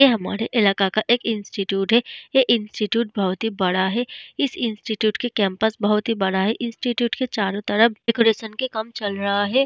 ये हमरे इलका का एक इंस्टीट्यूट है ये इंस्टीट्यूट बहुत बड़ा है इस इंस्टीट्यूट के कैंपस बहुत ही बड़ा है इंस्टीट्यूट के चारो तरफ डेकोरेशन के काम चल रहा है।